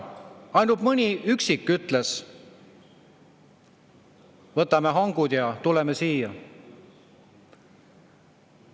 Ainult mõni üksik ütles, et võtame hangud ja tuleme.